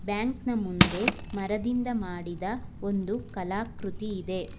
Bank ನ ಮುಂದೆ ಮರದಿಂದ ಮಾಡಿದ ಒಂದು ಕಲಾಕೃತಿ ಇದೆ.